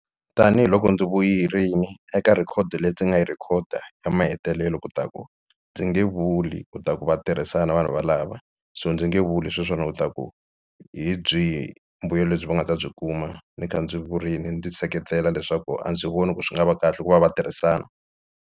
Tanihiloko ndzi eka record leyi ndzi nga yi record ya mahetelelo ku ta ku ndzi nge vuli u ta ku va tirhisana na vanhu valava so ndzi nge vuli hi u ta ku hi byihi mbuyelo lebyi va nga ta byi kuma ni kha ndzi vurini ndzi seketela leswaku a ndzi voni ku swi nga va kahle ku va va tirhisana.